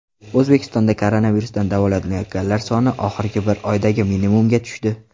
O‘zbekistonda koronavirusdan davolanayotganlar soni oxirgi bir oydagi minimumga tushdi.